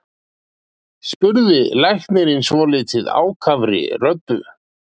spurði læknirinn svolítið ákafri röddu.